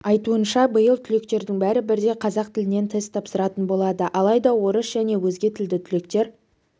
айтуынша биыл түлектердің бәрі бірдей қазақ тілінен тест тапсыратын болады алайда орыс және өзге тілді түлектер